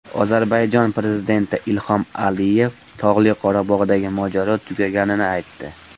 Ozarbayjon prezidenti Ilhom Aliyev Tog‘li Qorabog‘dagi mojaro tugaganini aytdi.